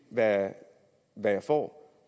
hvad jeg får